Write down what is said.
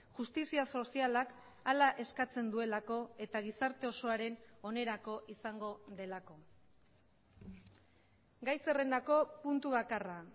justizia sozialak hala eskatzen duelako eta gizarte osoaren onerako izango delako gai zerrendako puntu bakarra